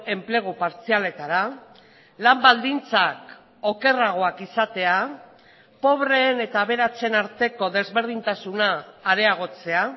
enplegu partzialetara lan baldintzak okerragoak izatea pobreen eta aberatsen arteko desberdintasuna areagotzea